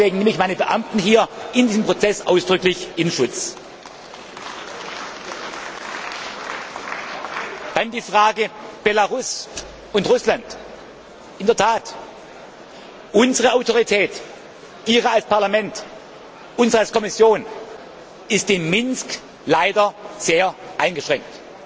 Deswegen nehme ich meine Beamten hier in diesem Prozess ausdrücklich in Schutz. Dann die Frage Belarus und Russland. In der Tat, unsere Autorität, Ihre als Parlament, unsere als Kommission, ist in Minsk leider sehr eingeschränkt.